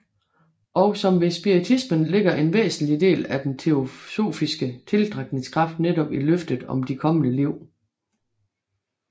Og som ved spiritismen ligger en væsentlig del af den teosofiske tiltrækningskraft netop i løftet om de kommende liv